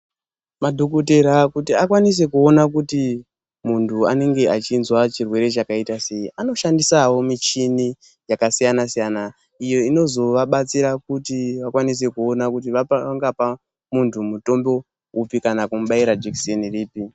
Madhokotera kuti akwanise kuona kuti muntu anenge achizwa chirwere chakaita sei. Anoshandisavo michini yakasiyana-siyana, iyo inozo vabatsira kuti vakwanise kuona kuti vangapa muntu mutombo upi kana kumubaira jekiseni ripi.